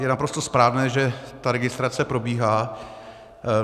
Je naprosto správné, že ta registrace probíhá.